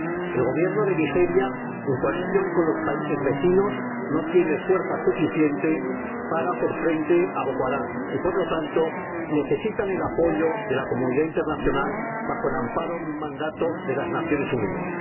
El Gobierno de Nigeria, en coalición con los países vecinos, no tiene fuerza suficiente para hacer frente a Boko Haram y, por lo tanto, necesita el apoyo de la comunidad internacional bajo el amparo de un mandato de las Naciones Unidas.